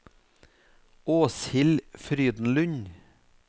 Åshild Frydenlund